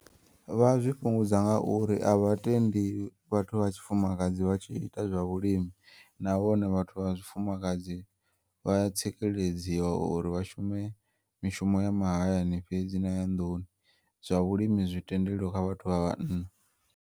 Vha zwi fhungudza ngauri a vha tendi vhathu vha tshifumakadzi vhatshi ita zwa vhulimi, nahone vhathu vha tshifumakadzi vhaya tsikeledziwa uri vhashume mishumo ya mahayani fhedzi naya nḓuni, zwa vhulimi zwitendeliwa kha vhathu vha vhanna.